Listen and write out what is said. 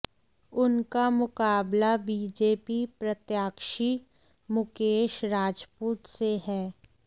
उनका मुकाबला बीजेपी प्रत्याशी मुकेश राजपूत से है